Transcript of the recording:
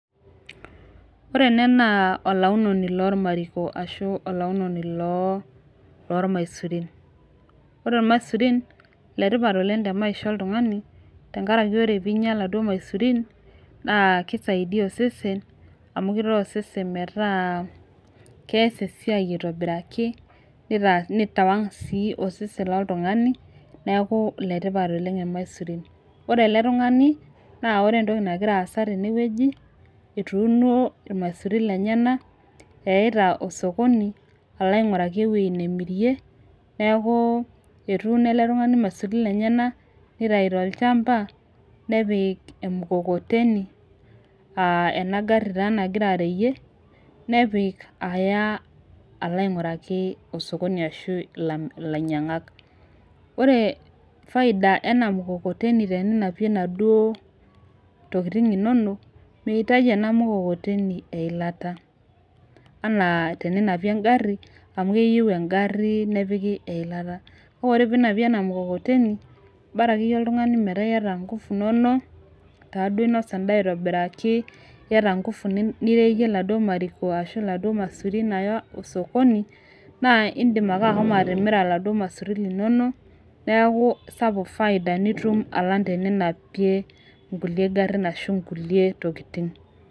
Ore ene naa olaunono lormariko ashu olaunoni loo lormaisurin ore irmasurin iletipat oleng te maisha oltung'ani tenkaraki ore piinyia iladuo maisurin naa kisaidia osesen amu kitaa osesen metaa kees esiai aitobiraki nitaa nitawang sii osesen loltung'ani neeku iletipat oleng ilmaisurin ore ele tung'ani naa ore entoki nagira aasa tenewueji etuuno irmaisurin lenyena eyaita osokoni alo aing'uraki ewuei nemirie neeku etuuno ele tung'ani ilmaisurin lenyenak nitai tolchamba nepik emukokoteni uh ena garri taa nagira areyie nepik aya alo aing'uraki osokoni ashu ilainyiang'ak ore faida ena mkokoteni teninapie inaduo tokitin inonok meitaji ena mukokoteni eilata anaa teninapie engarri amu keyieu engarri nepiki eilata naore teninapie ena mukokoteni bara akeyie oltung'ani metaa iyata ingufu inonok taaduo inosa endaa aitobiraki iyata ingufu nireyie iladuo mariko ashu iladuo masurin aya osokoni naa indim ake ahomo atimira iladuo masurin linono neaku sapuk faida nitum alang teninapie inkulie garrin ashu inkulie tokitin.